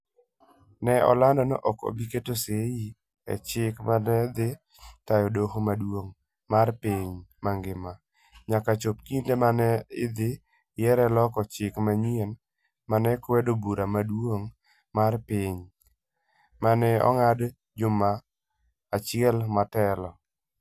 Ne olando ni ok obi keto sei e chik ma ne dhi tayo Doho Maduong ' mar Piny mangima, nyaka chop kinde ma ne idhi yiere loko chik manyien ma nokwedo Bura Maduong ' mar Piny, ma ne ong'ad juma achiel motelo.